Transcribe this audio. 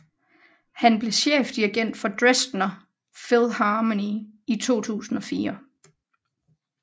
Han blev chefdirigent for Dresdner Philharmonie i 2004